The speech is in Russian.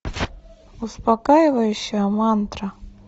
успокаивающая мантра